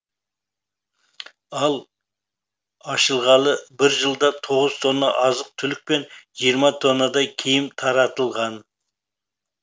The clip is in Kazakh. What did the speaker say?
ал ашылғалы бір жылда тоғыз тонна азық түлік пен жиырма тоннадай киім таратылған